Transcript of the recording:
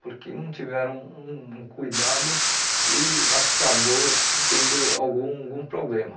porque não tiveram um um cuidado e acabou tendo algum algum problema.